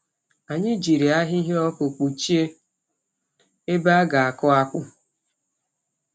Anyị jiri ahịhịa ọkụ kpọchie ebe a ga-akụ akpụ.